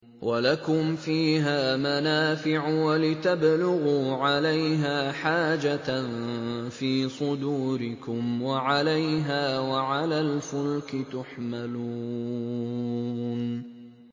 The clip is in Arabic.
وَلَكُمْ فِيهَا مَنَافِعُ وَلِتَبْلُغُوا عَلَيْهَا حَاجَةً فِي صُدُورِكُمْ وَعَلَيْهَا وَعَلَى الْفُلْكِ تُحْمَلُونَ